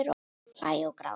Hlæja og gráta.